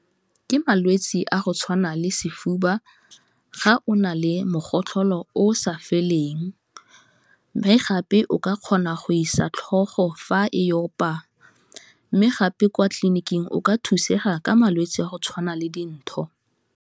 Ke malwetse a go tshwana le sefuba, ga o na le mogotlholo o sa feleng, mme gape o ka kgona go isa tlhogo fa e opa, mme gape kwa tleliniking o ka thusega ka malwetse a go tshwana le dintho.